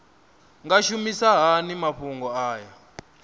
nga shumisa hani mafhumgo aya